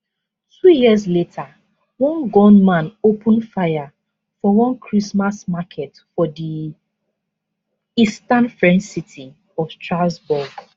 two years later one gunman open fire for one christmas market for di eastern french city of strasbourg